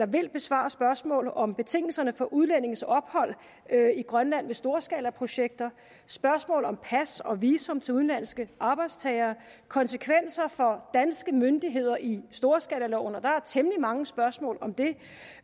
vil besvare spørgsmål om betingelserne for udlændinges ophold i grønland ved storskalaprojekter spørgsmål om pas og visum til udenlandske arbejdstagere konsekvenser for danske myndigheder i storskalaloven og der er temmelig mange spørgsmål om det